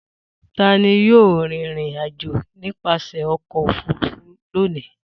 Ta ni yóò rìnrìn-àjò nípasẹ̀ ọkọ̀-òfurufú lónìí?